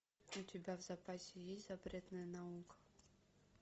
у тебя в запасе есть запретная наука